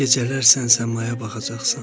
Gecələr sən səmaya baxacaqsan.